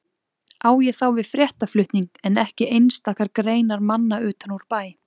Á ég þá við fréttaflutning en ekki einstakar greinar manna utan úr bæ.